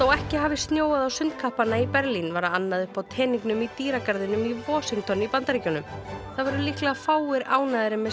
ekki hafi snjóað á í Berlín var annað uppi á teningnum í dýragarðinum í Washington í Bandaríkjunum það voru líklega fáir ánægðari með